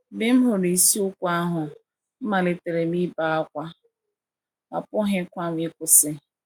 Mgbe m hụrụ isiokwu ahụ, amalitere m ibe ákwá, apụghịkwa m ịkwụsị.